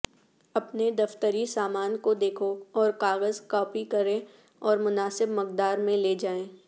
اپنے دفتری سامان کو دیکھو اور کاغذ کاپی کریں اور مناسب مقدار میں لے جائیں